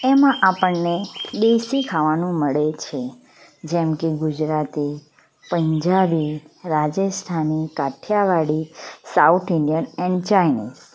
એમાં આપણને દેશી ખાવાનું મળે છે જેમ કે Gujarati Punjabi Rajasthani Kathiyawadi south Indian and Chinese .